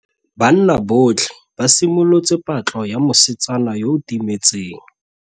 Banna botlhê ba simolotse patlô ya mosetsana yo o timetseng.